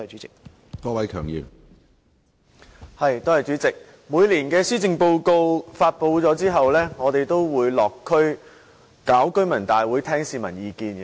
主席，每年的施政報告發布後，我們都會落區舉行居民大會，聽取市民意見。